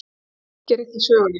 Það fylgir ekki sögunni.